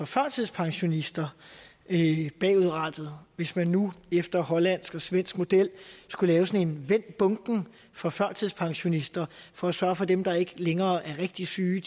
førtidspensionister bagudrettet hvis man nu efter hollandsk og svensk model skulle vende bunken for førtidspensionister for at sørge for at dem der ikke længere var rigtig syge